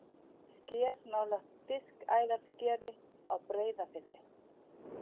Sker nálægt Diskæðarskeri á Breiðafirði.